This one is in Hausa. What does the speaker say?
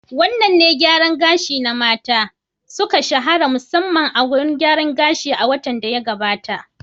Wadanne salon gyaran gashi na mata, suka shahara musamman a wurin gyaran gashi a watan da ya gabata?